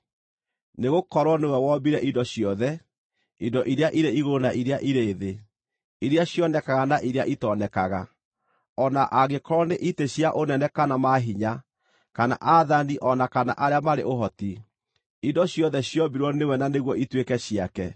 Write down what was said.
Nĩgũkorwo nĩwe wombire indo ciothe: indo iria irĩ igũrũ na iria irĩ thĩ, iria cionekaga na iria itonekaga, o na angĩkorwo nĩ itĩ cia ũnene kana maahinya, kana aathani o na kana arĩa marĩ ũhoti; indo ciothe ciombirwo nĩwe na nĩguo ituĩke ciake.